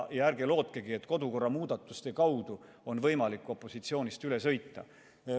Ärge lootkegi, et kodukorra muudatuste kaudu on võimalik opositsioonist üle sõita.